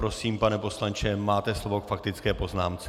Prosím, pane poslanče, máte slovo k faktické poznámce.